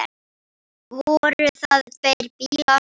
Voru það tveir bílar.